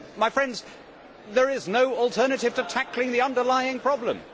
My friends, there is no alternative to tackling the underlying problem.